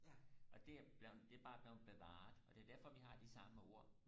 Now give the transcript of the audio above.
og det er blevet det er bare blevet bavaret og det er derfor vi har de samme ord